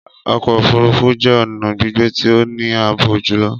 Ọkọ ofurufu jẹ ọna gbigbe ti o ni aabo julọ.